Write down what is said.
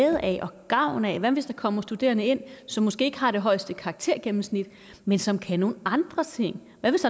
af og gavn af hvad hvis der kommer studerende ind som måske ikke har det højeste karaktergennemsnit men som kan nogle andre ting hvad hvis